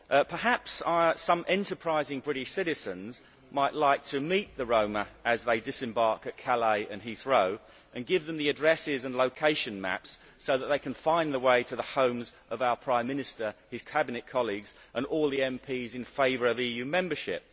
Perhaps some enterprising British citizens might like to meet the Roma as they disembark at Calais and Heathrow and give them the addresses and location maps so that they can find their way to the homes of our Prime Minister, his cabinet colleagues and all the MPs in favour of EU membership.